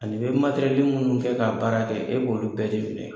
Ani bɛ minnu kɛ k'a baara kɛ e b'olu bɛɛ